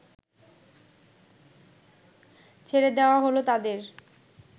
ছেড়ে দেওয়া হলো তাদের